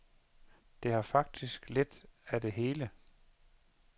Det har faktisk lidt af det hele.